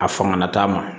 A fanga t'a ma